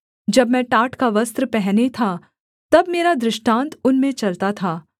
जब मैं टाट का वस्त्र पहने था तब मेरा दृष्टान्त उनमें चलता था